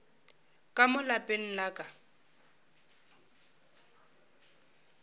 ka mo lapeng la ka